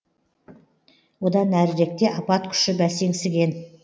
одан әріректе апат күші бәсеңсіген